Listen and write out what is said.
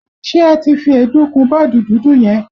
Ṣé ẹ ti fi èédú kun bọ́ọ̀dù dúdú yẹn?